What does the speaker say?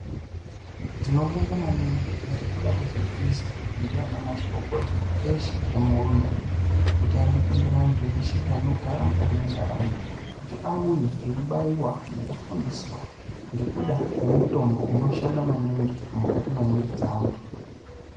Tinobonga maningi nekuda kwezviri kuizwa ndiana mazvikokota eshe emuhurumende kuti arikutendera antu eshe anogara mukati mwentaraunda kuti auye eibaiwa nekufundiswa ngekuda kwemitombo unoshanda maningi mukati mwemwiri dzeantu.